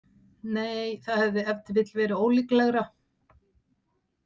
Nei, það hefði ef til vill verið ólíklegra.